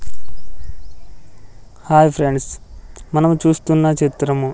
hi friends మనము చూస్తున్న చిత్రము --